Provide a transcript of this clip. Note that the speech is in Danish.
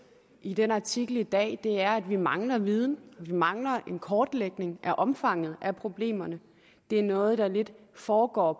i den artikel i dag er at vi mangler viden og vi mangler en kortlægning af omfanget af problemerne det er noget der lidt foregår